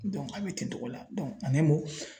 a bɛ ten togo la